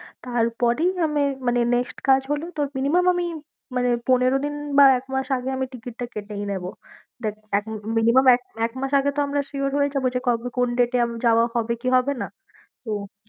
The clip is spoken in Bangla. তার পরেই মানে next কাজ হলো তোর minimum আমি মানে পনেরদিন বা একমাস আগে আমি ticket টা কেটেই নেবো minimum এক, এক মাস আগে তো আমরা sure হয়ে যাবো যে কবে কোন date এ যাওয়া হবে কি হবে না তো